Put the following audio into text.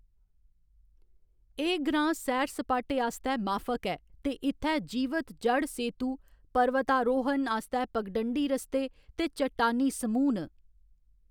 एह्‌‌ ग्रांऽ सैर सपाटे आस्तै माफक ऐ ते इत्थै जीवत ज'ड़ सेतु, पर्वतारोहन आस्तै पगडंडी रस्ते, ते चट्टानी समूह् न।